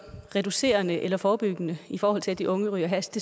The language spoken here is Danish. reducerende eller forebyggende i forhold til at de unge ryger hash